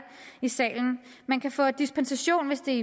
i salen man kan få dispensation hvis det